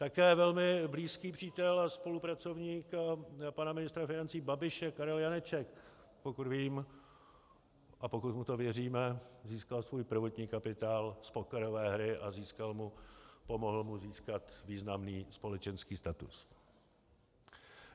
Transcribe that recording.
Také velmi blízký přítel a spolupracovník pana ministra financí Babiše Karel Janeček pokud vím a pokud mu to věříme, získal svůj prvotní kapitál z pokerové hry a pomohl mu získat významný společenský status.